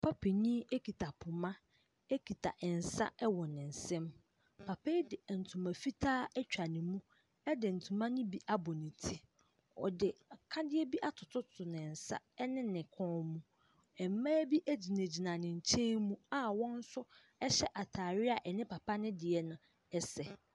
Papa panyin ekita poma, ekita nsa ɛwɔ ne nsam. Papa yi de ntoma fitaa atwa ne mu ɛde ntoma ne bi abɔ ne ti. Ɔde akadeɛ bi atoto ne nsa ɛne ne kɔn mu. Mmaa bi egyina gyina ne nkyɛn mu a wɔn nso ɛhyɛ ataade a ɛne papa no deɛ no ɛsɛ.